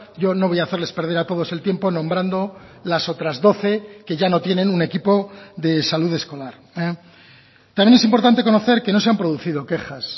yo no voy a hacerles perder a todos el tiempo nombrando las otras doce que ya no tienen un equipo de salud escolar también es importante conocer que no se han producido quejas